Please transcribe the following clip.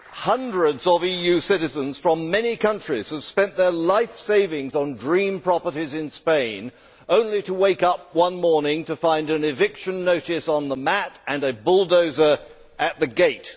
Hundreds of EU citizens from many countries have spent their life savings on dream properties in Spain, only to wake up one morning to find an eviction notice on the mat and a bulldozer at the gate.